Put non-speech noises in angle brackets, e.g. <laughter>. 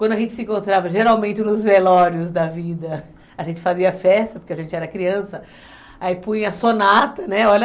Quando a gente se encontrava, geralmente nos velórios da vida, <laughs> a gente fazia festa, porque a gente era criança, aí punha sonata, né, olha...